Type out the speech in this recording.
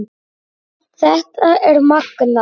Þetta er magnað.